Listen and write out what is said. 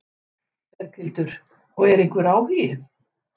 Berghildur: Og er einhver áhugi?